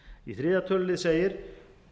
í þriðja tölulið segir